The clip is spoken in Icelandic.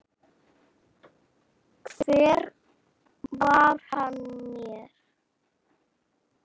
Hver var hann mér?